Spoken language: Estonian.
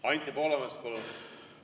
Anti Poolamets, palun!